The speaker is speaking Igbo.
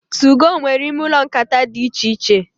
2go nwere ime ụlọ nkata dị íchè iche.